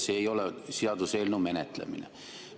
See ei ole seaduseelnõu menetlemine.